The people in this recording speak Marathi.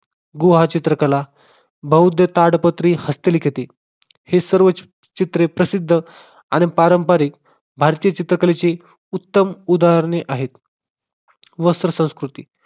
गुहा चित्रकला, बौद्ध ताडपत्री, हस्तलिखिती हे सर्व चित्रे प्रसिद्ध आणि पारंपारिक भारतीय चित्रकलेची उत्तम उदाहरणे आहेत. वस्त्र संस्कृती